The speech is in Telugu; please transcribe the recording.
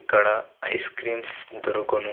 ఇక్కడ ఐస్ క్రీమ్స్ ఇద్దరు కొను --